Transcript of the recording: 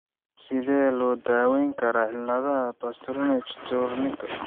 Sidee loo daweyn karaa cilada Parsonage Turnerka?